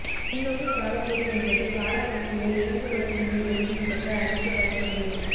பின் நோக்கு காலக்கோடு என்பது கால வரிசையை இறங்கு வரிசையில் எழுதி விளக்க அளிக்க பயன்படுவது